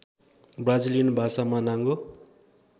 Brazilian भाषामा नाङ्गो